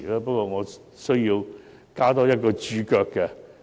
不過，我需要加一個註腳。